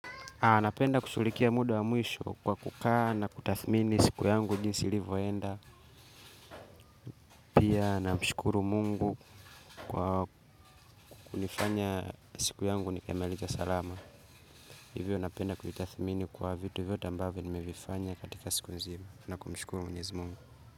Anapenda kushughulikia muda wa mwisho kwa kukaa na kutathmini siku yangu jinsi livoenda. Pia namshukuru mungu kwa kunifanya siku yangu nikamilike salama. Hivyo napenda kutathmini kwa vitu vyote ambavo nimevifanya katika siku nzima. Na kumshukuru mnyezi mungu.